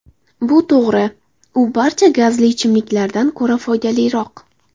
Bu to‘g‘ri: u barcha gazli ichimliklardan ko‘ra foydaliroq.